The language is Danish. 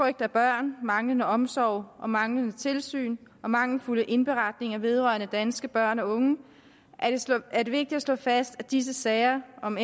af børn manglende omsorg manglende tilsyn og mangelfulde indberetninger vedrørende danske børn og unge er det vigtigt at slå fast at disse sager om